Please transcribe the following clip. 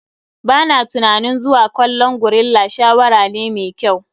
Ba na tunanin zuwa kallon gorilla shawara ne mai kyau.